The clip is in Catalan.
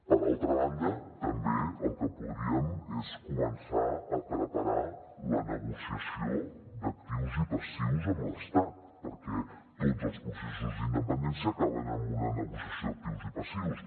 per altra banda també el que podríem és començar a preparar la negociació d’actius i passius amb l’estat perquè tots els processos d’independència acaben amb una negociació d’actius i passius